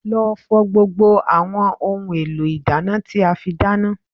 Lọ fọ gbogbo àwọn ohun èlò ìdáná tí a fi dáná